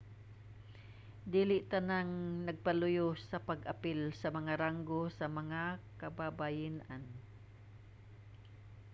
dili tanang nagpaluyo sa pag-apil sa mga ranggo sa mga kababayen-an